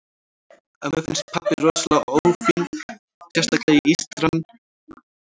Ömmu finnst pabbi rosalega ófínn, sérstaklega ístran og skallinn til skammar.